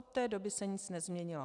Od té doby se nic nezměnilo.